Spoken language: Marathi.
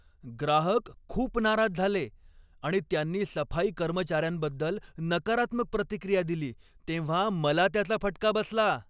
ग्राहक खूप नाराज झाले आणि त्यांनी सफाई कर्मचार्यांबद्दल नकारात्मक प्रतिक्रिया दिली तेव्हा मला त्याचा फटका बसला.